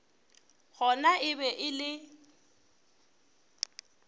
gona e be e le